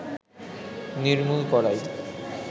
নির্মূল করাই